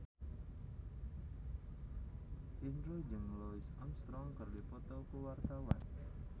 Indro jeung Louis Armstrong keur dipoto ku wartawan